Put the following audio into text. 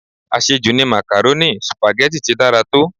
Àṣẹ jù ni màkàrónì, Sùpàgẹ́tì ti dára tó.